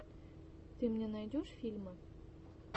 ты мне найдешь фильмы